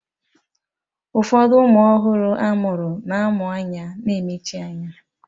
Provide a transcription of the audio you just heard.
Ụfọdụ ụmụ ọhụrụ a mụrụ na-amụ anya na-emechi anya